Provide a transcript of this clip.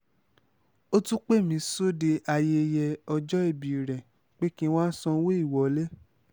ó tún pè mí sóde ayẹyẹ ọjọ́ọbí rẹ̀ pé kí n má sanwó ìwọlé